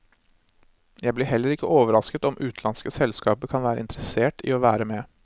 Jeg blir heller ikke overrasket om utenlandske selskaper kan være interessert i å være med.